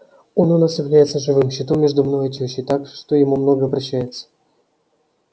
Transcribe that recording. он у нас является живым щитом между мною и тёщей так что ему многое прощается